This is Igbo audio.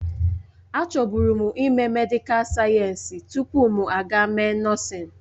Achọbụrụ m ime medịkal sayensị tupu m aga mee nọọsịn.